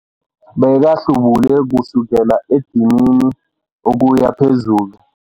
Bekahlubule kusukela edinini ukuya phezulu.